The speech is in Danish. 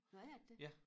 Nåh er det det?